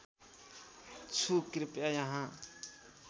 छु कृपया यहाँ